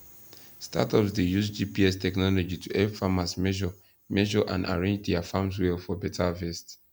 startups dey use gps technology to help farmers measure measure and arrange dia farms well for better harvest